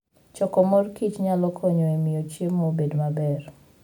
Choko mor kich nyalo konyo e miyo chiemo obed maber.